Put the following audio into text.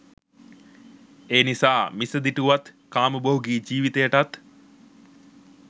එනිසා මිසදිටුවත් කාමභෝගී ජීවිතයටත්